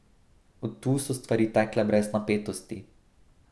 Od tu so stvari tekle brez napetosti.